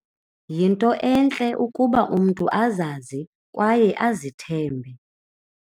Yinto entle ukuba umntu azazi kwaye azithembe.